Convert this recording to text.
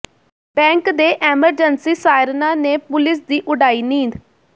bank ਦੇ emergency ਸਾਇਰਨਾ ਨੇ ਪੁਲਸ ਦੀ ਉਡਾਈ ਨੀਂਦ